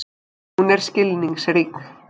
Hún er skilningsrík.